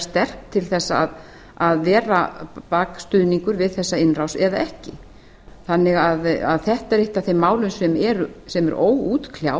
sterk til þess að vera bakstuðningur við þessa innrás eða ekki þetta er eitt af þeim málum sem eru óútkljáðu